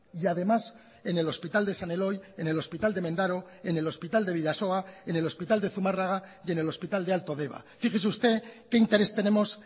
y además en el hospital de san eloy en el hospital de mendaro en el hospital de bidasoa en el hospital de zumarraga y en el hospital de alto deba fíjese usted qué interés tenemos